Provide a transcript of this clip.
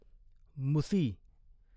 मुसी